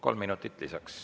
Kolm minutit lisaks.